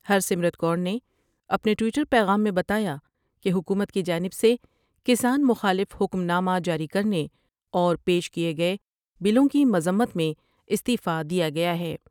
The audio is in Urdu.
ہر سمرت کو رنے اپنے ٹوئیٹر پیغام میں بتایا کہ حکومت کی جانب سے کسان مخالف حکم نامہ جاری کر نے اور پیش کئے گئے بلوں کی مذمت میں استعفی دیا گیا ہے ۔